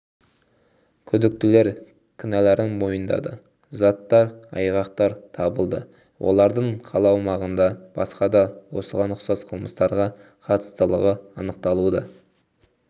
күдіктілер кінәларын мойындады заттай айғақтар табылды олардың қала аумағында басқа да осыған ұқсас қылмыстарға қатыстылығы анықталуда